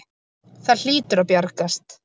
Það hlýtur að bjargast.